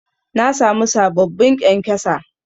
Na sami sababbin ƙyankyasa